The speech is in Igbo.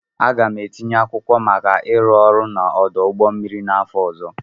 Aga m etinye akwụkwọ maka ịrụ ọrụ n'ọdụ ụgbọ mmiri n'afọ ọzọ.